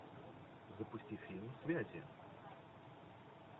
запусти фильм связи